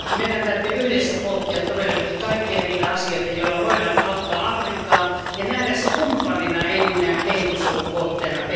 Meidän täytyy yhdessä pohtia todellakin kaikkia niitä asioita, joilla voidaan auttaa Afrikkaa, ja nähdä se kumppanina eikä pelkästään minään kehitysavun kohteena.